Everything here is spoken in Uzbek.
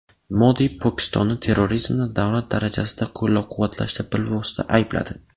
Modi Pokistonni terrorizmni davlat darajasida qo‘llab-quvvatlashda bilvosita aybladi.